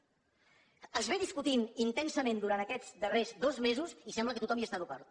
s’ha estat discutint intensament durant aquests darrers dos mesos i sembla que tothom hi està d’acord